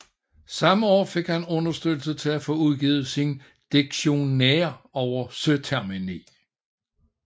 Samme år fik han understøttelse til at få udgivet sin Dictionnaire over Søtermini